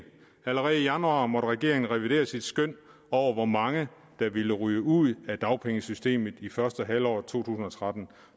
allerede i januar måtte regeringen revidere sit skøn over hvor mange der ville ryge ud af dagpengesystemet i første halvår af to tusind og tretten